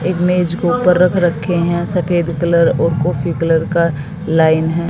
एक मेज को ऊपर रख रखे हैं सफेद कलर और कॉफी कलर का लाइन है।